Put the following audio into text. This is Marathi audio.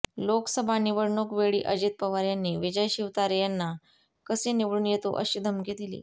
लोकसभा निवडणूक वेळी अजित पवार यांनी विजय शिवतारे यांना कसे निवडून येतो अशी धमकी दिली